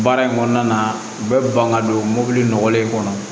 Baara in kɔnɔna na u bɛ ban ka don mobili nɔgɔlen kɔnɔ